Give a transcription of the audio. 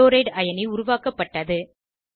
chloride C L அயனி உருவாக்கப்பட்டது